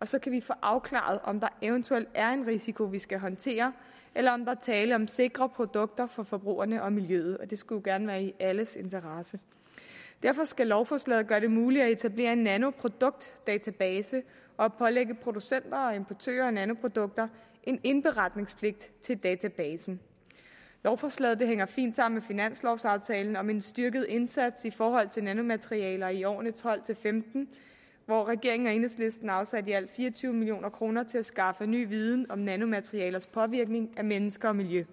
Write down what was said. og så kan vi få afklaret om der eventuelt er en risiko vi skal håndtere eller om der er tale om sikre produkter for forbrugerne og miljøet og det skulle jo gerne være i alles interesse derfor skal lovforslaget gøre det muligt at etablere en nanoproduktdatabase og pålægge producenter og importører af nanoprodukter en indberetningspligt i forhold til databasen lovforslaget hænger fint sammen med finanslovaftalen om en styrket indsats i forhold til nanomaterialer i årene tolv til femten hvor regeringen og enhedslisten har afsat i alt fire og tyve million kroner til at skaffe ny viden om nanomaterialers påvirkning af mennesker og miljø